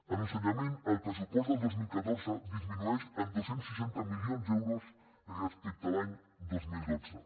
en ensenyament el pressupost del dos mil catorze disminueix en dos cents i seixanta milions d’euros respecte a l’any dos mil dotze